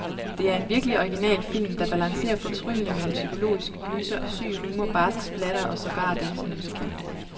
Det er en virkeligt original film, der balancerer fortryllende mellem psykologisk gyser, syg humor, barsk splatter og sågar dansemusical.